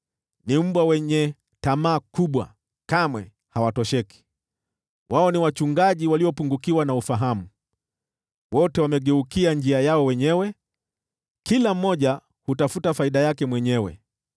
Ni mbwa wenye tamaa kubwa, kamwe hawatosheki. Wao ni wachungaji waliopungukiwa na ufahamu; wote wamegeukia njia yao wenyewe, kila mmoja hutafuta faida yake mwenyewe.